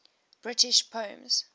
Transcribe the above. british poems